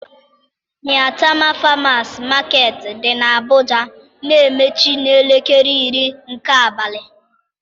Maitama Farmers Market dị n'Abụja na-emechi n'elekere iri nke abalị.